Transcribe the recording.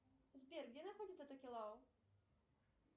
сбер где находится токелау